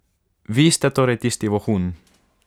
Vi ste torej tisti vohun.